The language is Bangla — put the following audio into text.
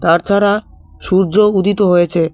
তার ছাড়া সূর্য উদিত হয়েছে।